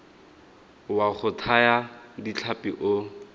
wa go thaya ditlhapi o